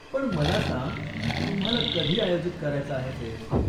पण मला सांग, तुम्हाला कधी आयोजित करायचा आहे फेस्ट?